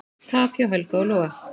Tap hjá Helga og Loga